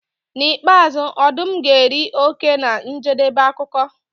N'ikpeazụ ọdụm ga-eri oke na njedebe akụkọ.